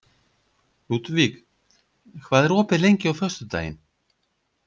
Ludvig, hvað er opið lengi á föstudaginn?